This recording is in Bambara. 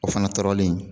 O fana tɔɔrɔlen